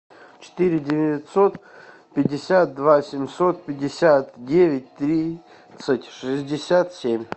четыре девятьсот пятьдесят два семьсот пятьдесят девять тридцать шестьдесят семь